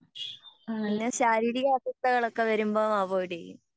പിന്നെ ശാരീരിക അസ്വസ്ഥകൾ ഒക്കെ വരുമ്പോ അവോയ്ടെയ്യും